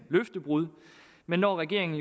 løftebrud men når regeringen